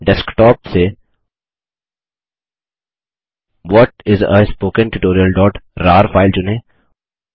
desktop से what is a spoken tutorialरार file चुनें